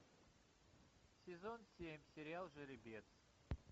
сезон семь сериал жеребец